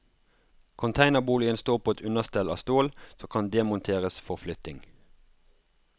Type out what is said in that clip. Containerboligen står på et understell av stål, som kan demonteres for flytting.